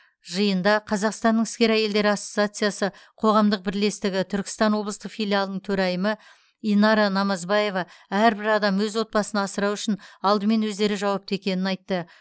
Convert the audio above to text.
жиында қазақстанның іскер әйелдері ассоциациясы қоғамдық бірлестігі түркістан облыстық филиалының төрайымы инара намазбаева әрбір адам өз отбасын асырау үшін алдымен өздері жауапты екенін айтты